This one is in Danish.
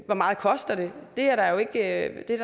hvor meget koster det det er der jo ikke